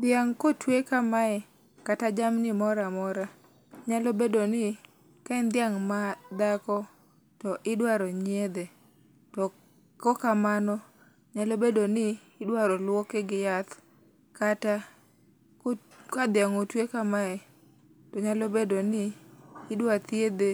Dhiang' kotue kamae kata jamni moramora, nyalo bedoni ka en dhiang' madhako to idwaro nyiedhe to kok kamano nyalo bedoni idwaro luoke gi yath kata ka dhiang' otue kamae nyalo bedoni idwa thiedhe